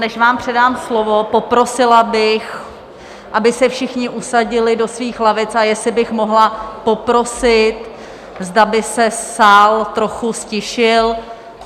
Než vám předám slovo, poprosila bych, aby se všichni usadili do svých lavic, a jestli bych mohla poprosit, zda by se sál trochu ztišil.